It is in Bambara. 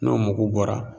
N'o mugu bɔra